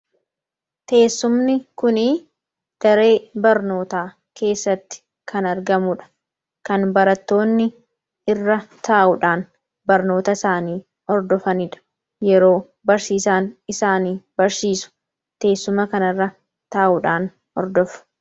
Teessumni kun daree barnootaa keessatti kan argamuudha. Kan barattoonni irra taa'uudhaan barnoota isaanii hordofaniidha. Yeroo barsiisaan isaanii barsiisu teessuma kan irra taa'uudhaan hordofu.